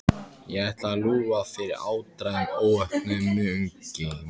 Ætlaði ég að lúffa fyrir áttræðum óvopnuðum munki?